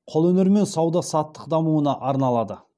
қолөнер мен сауда саттық дамуына арналады